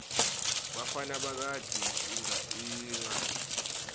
bafana bagidza ingadla